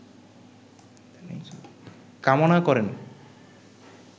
কামনা করেন